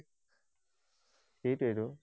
সেইটোৱেইতো।